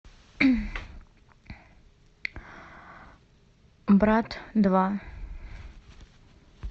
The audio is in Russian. брат два